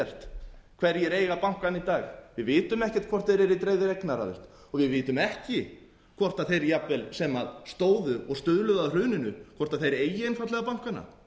ekkert hverjir eiga bankana í dag við vitum ekkert hvort þeir eru í dreifðri eignaraðild og við vitum ekki hvort þeir jafnvel sem stóðu og stuðluðu að hruninu hvort þeir eigi einfaldlega bankana